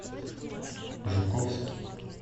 жуковский